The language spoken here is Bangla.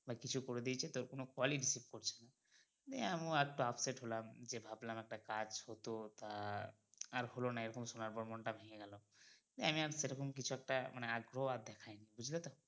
বা কিছু করে দিয়েছে তোর কোনো call ই receive ই করছে না নিয়ে আমিও একটু upset হলাম যে ভাবলাম একটা কাজ হতো তা আর হলোনা এরকম শোনার পর মন টা ভেঙে গেলো নিয়ে আমি আর সেরকম কিছু একটা অগগ্রহ দেখায়নি বুজলে তো